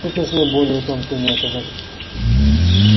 тут нужны более тонкие методы